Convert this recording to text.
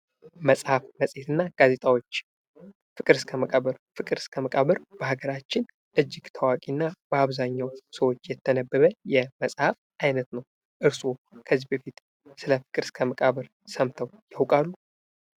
መጽሐፍ መጽሔት እና ጋዜጣዎች ፍቅር እስከ መቃብ ር ፍቅር እስከ መቃብር በአገራችን እጅግ ታዋቂ እና በአብዛኛው ሰዎች የተነበበ የመጸሀፍ ዓይነት ነው። እርስዎ ከዚህ በፊት ስለ ፍቅር እስከ መቃብር ሰምተው ያውቃሉ፡?